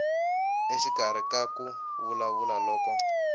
exikarhi ka ku vulavula loko